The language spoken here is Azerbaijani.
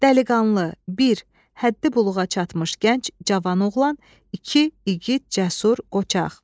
Dəliqanlı, bir, həddi-buluğa çatmış gənc cavan oğlan, iki, igid, cəsur, qoçaq.